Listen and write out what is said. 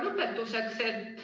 Lõpetuseks.